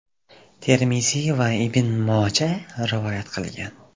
Termiziy va Ibn Moja rivoyat qilgan.